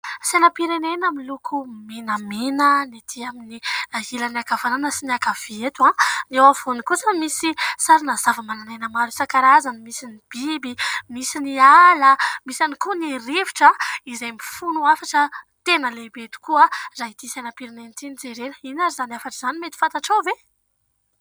Sainam-pirenena miloko menamena ny ety amin'ny ilany ankavanana sy ny ankavia eto. Ny eo afovoany kosa misy sarina zava-manan'aina maro isan-karazany : misy ny biby, misy ny ala, misy ihany koa ny rivotra izay mifono hafatra tena lehibe tokoa raha ity sainam-pirenena ity no jerena. Inona ary izany hafatra izany mety fantatrao ve?